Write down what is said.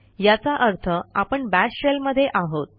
याचा अर्थ आपण बाश शेल मध्ये आहोत